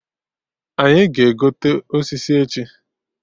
Anyị ga-egote osisi echi